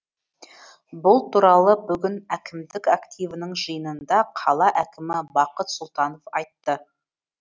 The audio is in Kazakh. бұл туралы бүгін әкімдік активінің жиынында қала әкімі бақыт сұлтанов айтты